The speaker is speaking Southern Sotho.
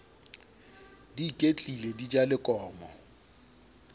di iketlile di ja lekomo